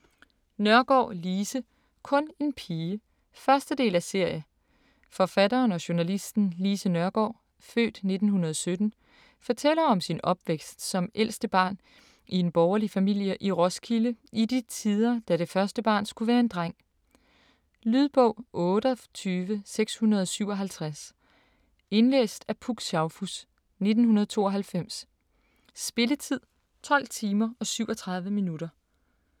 Nørgaard, Lise: Kun en pige 1. del af serie. Forfatteren og journalisten Lise Nørgaard (f. 1917) fortæller om sin opvækst som ældste barn i en borgerlig familie i Roskilde i de tider, da det første barn skulle være en dreng. Lydbog 28657 Indlæst af Puk Schaufuss, 1992. Spilletid: 12 timer, 37 minutter.